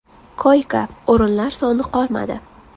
Koyka-o‘rinlar soni qolmadi.